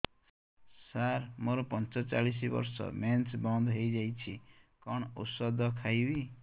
ସାର ମୋର ପଞ୍ଚଚାଳିଶି ବର୍ଷ ମେନ୍ସେସ ବନ୍ଦ ହେଇଯାଇଛି କଣ ଓଷଦ ଖାଇବି